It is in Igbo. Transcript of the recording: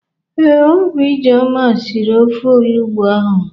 Ee, Ọ bụ Ijeọma siri ofe olugbụ ahụ.